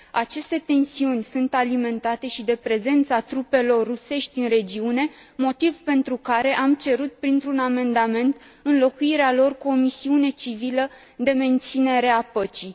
Aceste tensiuni sunt alimentate și de prezența trupelor rusești în regiune, motiv pentru care am cerut printr un amendament înlocuirea lor cu o misiune civilă de menținere a păcii.